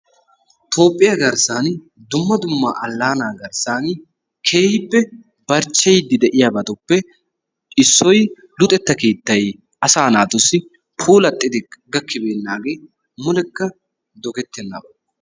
Toophphiya garssan dumma dumma alaana garssaan keehippe barchcheyiydi de'iyabatuppe issoy luxetta keettay asaa naatussi puulattidi gakkibeenaagee mulekka doggettenaba.